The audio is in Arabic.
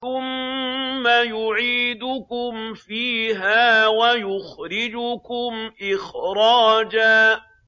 ثُمَّ يُعِيدُكُمْ فِيهَا وَيُخْرِجُكُمْ إِخْرَاجًا